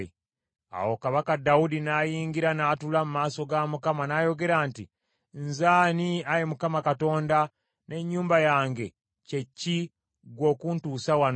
Awo kabaka Dawudi n’ayingira n’atuula mu maaso ga Mukama , n’ayogera nti, “Nze ani, Ayi Mukama Katonda, n’ennyumba yange kye ki, ggwe okuntuusa wano?